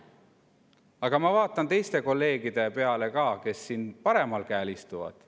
Aga ma vaatan ka teisi kolleege, kes siin paremal käel istuvad.